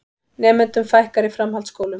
Nemendum fækkar í framhaldsskólum